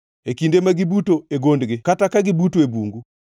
e kinde ma gibuto e gondgi kata ka gibuto e bungu?